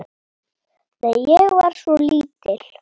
Nei, ég var svo lítil.